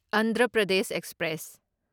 Andhra Pradesh express